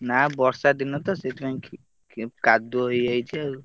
ନା ବର୍ଷା ଦିନ ତ ସେଇଥିପାଇଁ କାଦୁଅ ହେଇଯାଇଛି ଆଉ।